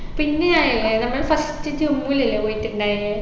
പിന്നെയായില്ലേ നമ്മൾ first ജമ്മുലല്ലേ പോയിട്ടുണ്ടായിന്